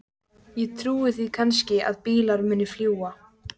Ég trúi því kannski að bílar muni fljúga.